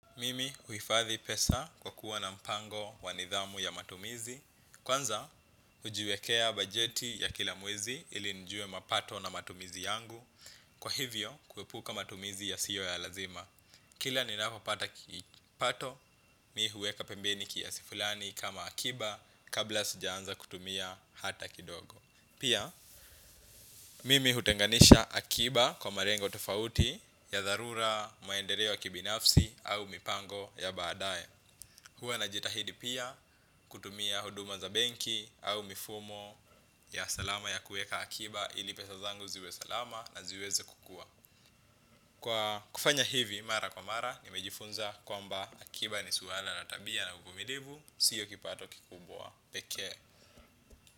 Mimi huhifadhi pesa kwa kuwa na mpango wanidhamu ya matumizi. Kwanza, hujiwekea bajeti ya kila mwezi ili nijue mapato na matumizi yangu. Kwa hivyo, kuepuka matumizi ya siyo ya lazima kila ni napopata kipato, mimi huweka pembeni kiasi fulani kama akiba kabla sijaanza kutumia hata kidogo. Pia, mimi hutenganisha akiba kwa malengo tofauti ya dharura maendeleo yakibinafsi au mipango ya baadaye. Huwa na jitahidi pia kutumia huduma za benki au mifumo ya salama ya kuweka akiba ili pesa zangu ziwe salama na ziweze kukua. Kwa kufanya hivi, mara kwa mara, nimejifunza kwa mba akiba ni swala la tabia na uvumilivu, sio kipato kikubwa, pekee.